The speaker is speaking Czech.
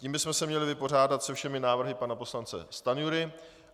Tím bychom se měli vypořádat se všemi návrhy pana poslance Stanjury.